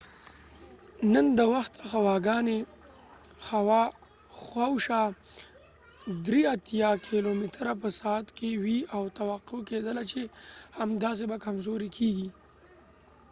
نن د وخته هوا ګانی خوا او شا 83 کېلو متره په ساعت کې وي او توقع کېدله چې همداسې به کمزوری کېږي